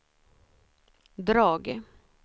drag